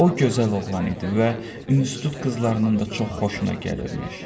O gözəl oğlan idi və institut qızlarının da çox xoşuna gəlirmiş.